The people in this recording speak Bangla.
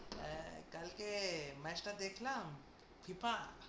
হ্যাঁ কালকে match টা দেখলাম FIFA এর।